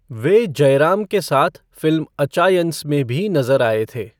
वे जयराम के साथ फ़िल्म अचायंस में भी नज़र आए थे।